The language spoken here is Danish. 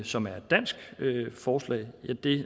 som et dansk forslag at det